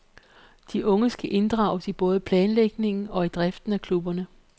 De unge skal inddrages i både planlægningen og i driften af klubberne.